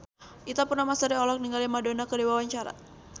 Ita Purnamasari olohok ningali Madonna keur diwawancara